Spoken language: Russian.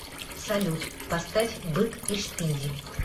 салют поставь бык и шпиндель